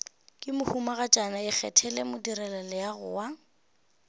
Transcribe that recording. ke mohumagatšana ikgethele modirelaleago wa